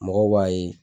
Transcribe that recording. Mɔgɔw b'a ye